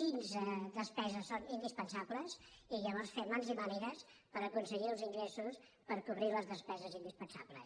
quines despeses són in·dispensables i llavors fer mans i mànigues per acon·seguir els ingressos per aconseguir les despeses indis·pensables